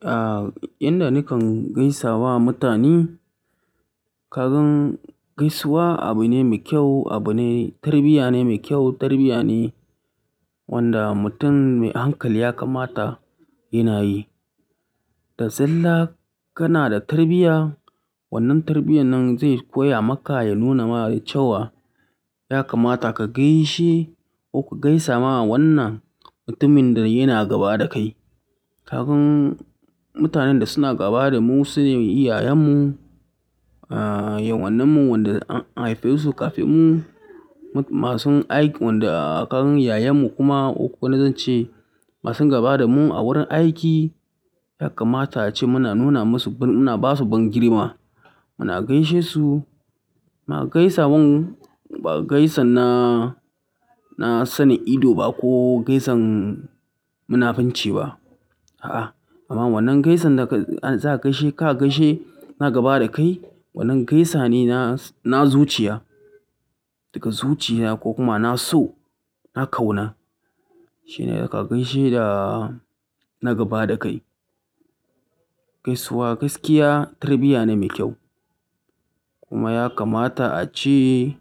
Ah, inda nikan gaisa wa mutane. Kagan gaisuwa abu ne mai kyau, abu ne, tarbiyya ne mai kyau, tarbiyya ne wanda mutum mai hankali ya kamata yana yi. Da zalla, kana ta tarbiya. Wannan tarbiyan nan zai koya maka ya nuna ma cewa ya kamata ka gaishe ko ku gaisa ma wannan mutumin da yana gaba da kai. Kasan mutanen da suna gaba da mu sune iyayen mu, ah, yawannan mu wanda an haife su kafin mu, masu aiki, wanda kagan yayen mu kuma. Ko zan ce masu gaba da mu a wurin aiki, ya kamata ace muna nuna masu, muna ba su bangirma. Muna gaishe su, muna gaisa mun, ba gaisan na, na sane ido ba ko gaisan munafunci ba. A'a, amma wannan gaisan da ka, za ka gaishe, ka gaishe na gaba da kai, wannan gaisa ne na, na zuciya. Daga zuciya ko kuma na so, na kauna. Shine da ka gaishe da na gaba da kai. Gaisuwa, gaskiya tarbiyya ne mai kyau. Kuma ya kamata ace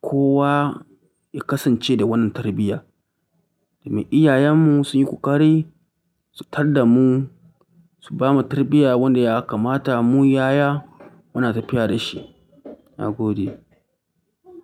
kowa ya kasance da wannan tarbiyya. Da me iyayen mu sun yi ƙoƙari su tar da mu, su bamu tarbiyya wanda ya kamata mu yaya muna tafiya da shi. Na gode.